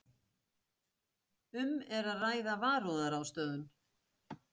Um er að ræða varúðarráðstöfun